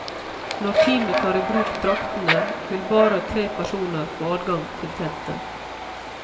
Når teamet tar i bruk draktene, vil bare tre personer få adgang til teltet.